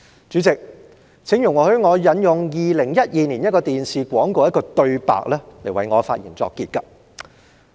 主席，請容許我引用2012年一個電視廣告的一句對白為我的發言作結。